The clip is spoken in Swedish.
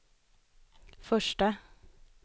första